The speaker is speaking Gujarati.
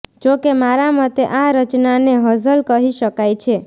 જો કે મારા મતે આ રચનાને હઝલ કહી શકાય છે